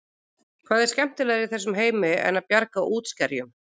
Hvað er skemmtilegra í þessum heimi en það að bjarga útskerjum?